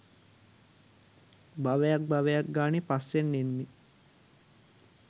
භවයක් භවයක් ගානේ පස්සෙන් එන්නේ